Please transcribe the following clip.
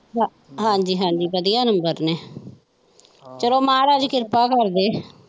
ਹਾਜੀ ਹਾਜੀ ਵਧੀਆ ਨੰਬਰ ਨੇ ਚੱਲੋ ਮਹਾਰਾਜਾ ਕਿਰਪਾ ਕਰਦੇ।